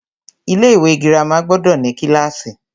Ilé ìwé girama gbọdọ̀ ní kílàsì.